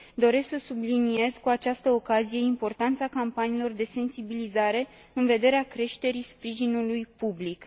Doresc să subliniez, cu această ocazie, importanța campaniilor de sensibilizare, în vederea creșterii sprijinului public.